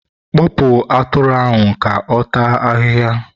kpụpụ atụrụ ahụ ka ọ taa ahịhịa!